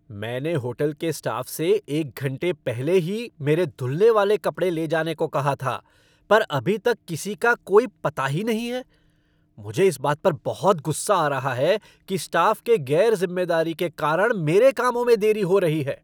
मैंने होटल के स्टाफ़ से एक घंटे पहले ही मेरे धुलने वाले कपड़े ले जाने को कहा था पर अभी तक किसी का कोई पता ही नहीं है। मुझे इस बात पर बहुत गुस्सा आ रहा है कि स्टाफ़ के गैर जिम्मेदारी के कारण मेरे कामों में देरी हो रही है!